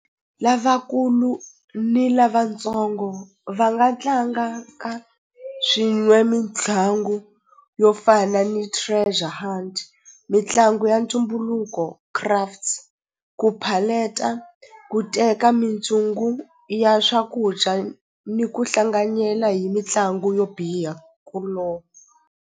Lavakulu ni lavatsongo va nga tlanga ka swin'we mitlangu yo fana ni Treasure Hunt mitlangu ya ntumbuluko Crafts ku ku teka mintsungu ya swakudya ni ku hlanganyela hi mitlangu yo biha ku .